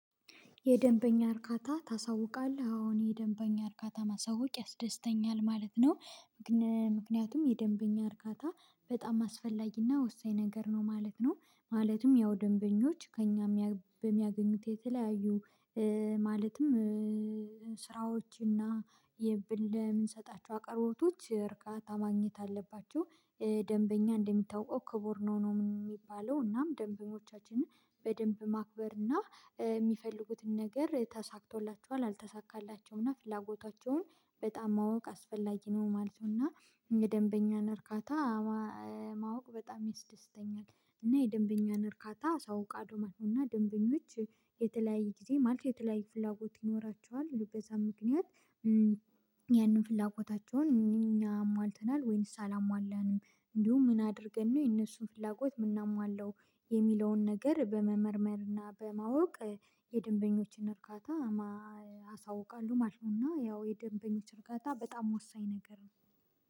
የደንበኛ እርካታ ታሳውቃለህ አሁን የደንበኛ እርካታ ማሳወቅ ያስደስተኛል ማለት ነው። ምክንያቱም የደንበኛ እርካታ በጣም አስፈላጊና ወሳኝ ነገር ነው ማለት ነው ማለትም ያው ደንበኞች ከእኛ በሚያገኙት የተለያዩ ማለትም ስራዎች እና የብልህ የምንሰጣቸው አቅርቦቶች እርካታ ማግኘት አለባቸው። ደንበኛ እንደሚታወቀው ክቡር ነው ነው የሚባለው እናም ደንበኞቻችንን በደንብ ማክበር እና የሚፈልጉትን ነገር ተሳክቶላቸዋል አልተሳካላቸውም እና ፍላጎታቸውን በጣም ማወቅ አስፈላጊ ነው ማለት ነው። እና የደንበኛን እርካታ ማወቅ በጣም ይስደስተኛል እና የደንበኛን እርካታ አሳውቃለሁ ቃዱ ማለት ነው። እና ደንበኞች የተለያየ ጊዜ ማለት የተለያየ ፍላጎት ይኖራቸዋል ሉበዛ ምክንያት ያንን ፍላጎታቸውን እኛም አሟልተናል ወይንስ አላሟላንም? እንዲሁም ምን አድርገን ነው የነሱን ፍላጎት የምናሟላው የሚለውን ነገር በመመርመር እና በማወቅ። የደንበኞችን እርካታ እርጋታ አሳውቃለሁ ማለት ነው። እና ያው የደንበኞች እርካታ በጣም ወሳኝ ነገር ነው